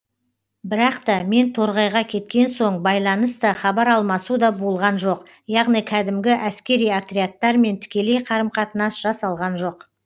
бірақ та мен торғайға кеткен соң байланыс та хабар алмасу да болған жоқ яғни кәдімгі әскери отрядтармен тікелей қарым қатынас жасалған жоқ